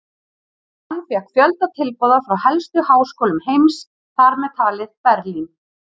Hann fékk fjölda tilboða frá helstu háskólum heims, þar með talið Berlín.